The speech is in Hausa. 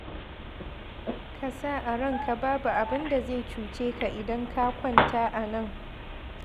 Ka sa a ranka babu abin da zai cuce ka idan ka kwanta a nan.